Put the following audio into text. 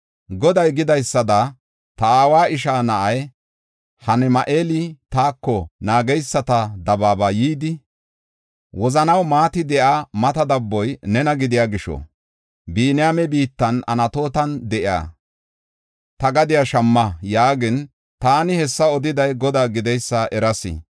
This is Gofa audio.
Goday gidaysada, ta aawa ishaa na7ay Hanami7eeli taako naageysata dabaaba yidi, ‘Wozanaw maati de7iya mata dabboy nena gidiya gisho, Biniyaame biittan Anatootan de7iya ta gadiya shamma’ yaagin, taani hessa odiday Godaa gideysa eras.